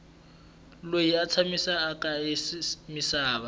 loyi a tshamaku eka misava